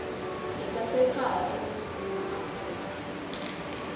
letasekhaya eningizimu afrika